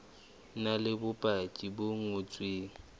na le bopaki bo ngotsweng